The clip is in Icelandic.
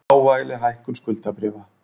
Smávægileg hækkun skuldabréfa